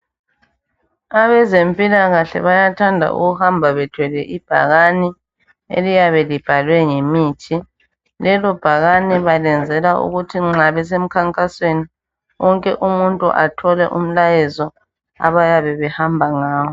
Abezempilakahle bayathanda ukuhamba bethwele ibhakani eliyabe libhalwe ngemithi lelo bhakani benzela ukuthi nxa besemkhankasweni wonke umuntu athole umlayezo abayabe behamba ngawo.